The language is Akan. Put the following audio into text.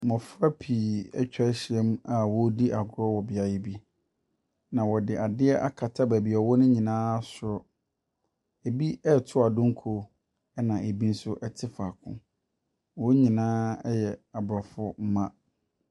Mmɔfrapii atwa ahyia mu a wɔredi agorɔ wɔ beaeɛ bi. Na wɔde adeɛ akata baabi a wɔwɔ no nyinaa soro. Ɛbi reti adonko, ɛna ɛbi nso te faako. Wɔn nyinaa yɛ Aborɔfo mma.